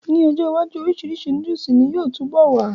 N ọjọ́ iwájú, orisirisi nóódùsì ni yóò túbọ̀ wà